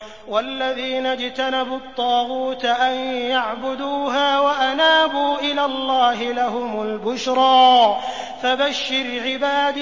وَالَّذِينَ اجْتَنَبُوا الطَّاغُوتَ أَن يَعْبُدُوهَا وَأَنَابُوا إِلَى اللَّهِ لَهُمُ الْبُشْرَىٰ ۚ فَبَشِّرْ عِبَادِ